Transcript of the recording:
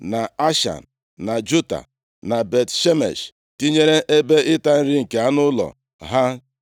na Ashan, na Juta, na Bet-Shemesh, tinyere ebe ịta nri nke anụ ụlọ ha.